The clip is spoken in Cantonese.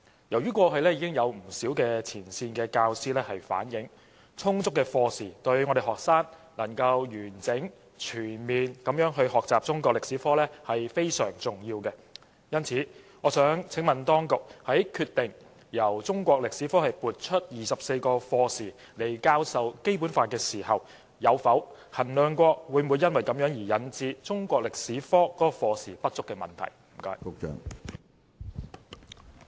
由於過去已有不少前線教師反映，充足課時對於學生能夠完整、全面地學習中國歷史科非常重要，因此，我想請問當局，在決定從中國歷史科撥出24課時來教授《基本法》時，有否衡量過會否因此引致中國歷史科課時不足的問題？